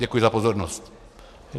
Děkuji za pozornost.